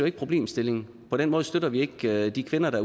ikke problemstillingen på den måde støtter vi ikke de kvinder der